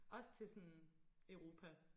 Også til sådan Europa